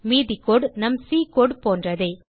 மீது கோடு நம் சி கோடு போன்றதே